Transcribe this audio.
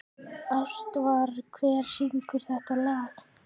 Ástvar, hver syngur þetta lag?